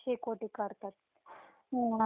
आणि शेकत बसतात थंडीच.